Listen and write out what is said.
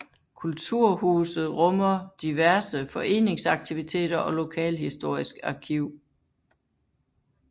Kulturhuset rummer diverse foreningsaktiviteter og lokalhistorisk arkiv